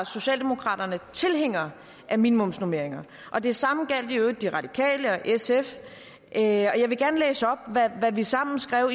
socialdemokraterne tilhængere af minimumsnormeringer og det samme gjaldt i øvrigt de radikale og sf og jeg vil gerne læse op hvad vi sammen skrev